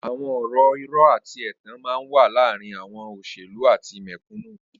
Awọn ọrọ irọ àtí ẹtàn mà n wà làárin awọn óṣélú àtí mẹkúnú